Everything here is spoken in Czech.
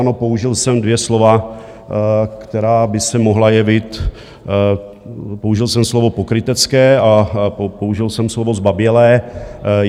Ano, použil jsem dvě slova, která by se mohla jevit... použil jsem slovo pokrytecké a použil jsem slovo zbabělé.